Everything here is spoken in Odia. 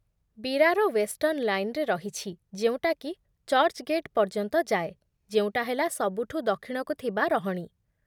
ବିରାର ୱେଷ୍ଟର୍ଣ୍ଣ୍ ଲାଇନ୍‌ରେ ରହିଛି ଯେଉଁଟାକି ଚର୍ଚ୍ଚ୍‌ଗେଟ୍ ପର୍ଯ୍ୟନ୍ତ ଯାଏ, ଯେଉଁଟା ହେଲା ସବୁଠୁ ଦକ୍ଷିଣକୁ ଥିବା ରହଣି ।